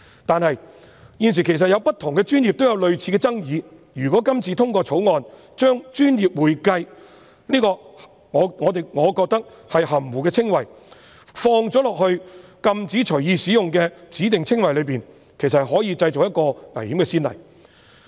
但是，現時在不同的專業也有類似爭議，如果今次通過《條例草案》，將我個人認為"專業會計"此含糊的稱謂放入禁止隨意使用的指定稱謂裏，其實可能製造危險的先例。